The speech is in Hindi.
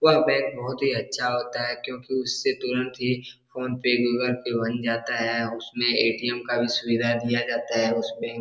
वह बैंक बहुत ही अच्छा होता है क्योंकि उससे तुरंत ही फोनपे गूगल पे बन जाता है उसमें ए.टी.एम. का भी सुविधा दिया जाता है उस बैंक --